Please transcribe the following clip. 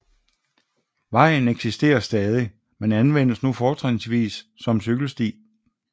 Vejen eksisterer stadig men anvendes nu fortrinsvis som cykelsti